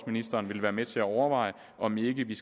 ministeren vil være med til at overveje om ikke vi